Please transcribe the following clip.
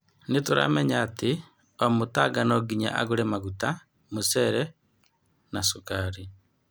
Nĩ turamenya atĩ o Mũtanga nonginya agũre Maguta, mũcere, ma cukari.